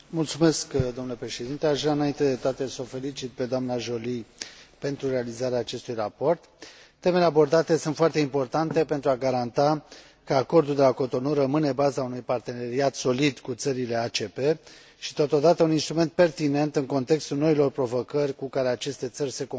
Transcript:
Aș vrea înainte de toate să o felicit pe doamna Joly pentru realizarea acestui raport. Temele abordate sunt foarte importante pentru a garanta că Acordul de la Cotonou rămâne baza unui parteneriat solid cu țările ACP și totodată un instrument pertinent în contextul noilor provocări cu care aceste țări se confruntă.